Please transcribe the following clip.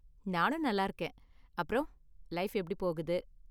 நானும் நல்லா இருக்கேன். அப்பறம் லைஃப் எப்படி போகுது?